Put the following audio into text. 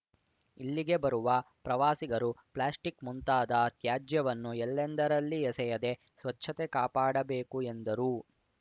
ಇಲ್ಲಿಗೆ ಬರುವ ಪ್ರವಾಸಿಗರು ಪ್ಲಾಸ್ಟಿಕ್‌ ಮುಂತಾದ ತ್ಯಾಜ್ಯವನ್ನು ಎಲ್ಲೆಂದರಲ್ಲಿ ಎಸೆಯದೆ ಸ್ವಚ್ಛತೆ ಕಾಪಾಡಬೇಕು ಎಂದರು